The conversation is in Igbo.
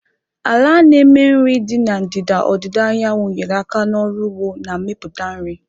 Ala na-eme nri dị na ndịda ọdịda anyanwụ nyere aka n'ọrụ ugbo na mmepụta nri.